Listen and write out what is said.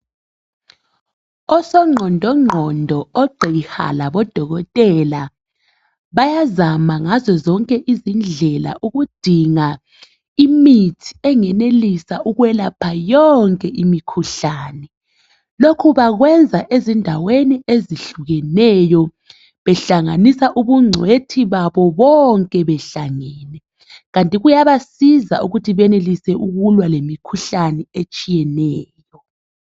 Osongqondo ngqondo ogqiha labo dokotela bayazama ngazo zonke izindlela ukudinga imithi engenelisa ukwelapha yonke imikhuhlane lokho bakwenza ezindaweni ezihlukeneyo behlanganisa ubuncwethi babo bonke behlangene kanti kuyabasiza ukuthi benelise ukulwa lemikhuhlane etshiyeneyo.